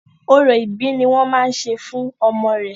Orò ìbí ni wọ́n máa ṣe fún ọmọ re.